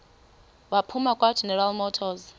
waphuma kwageneral motors